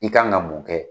I kan ka mun kɛ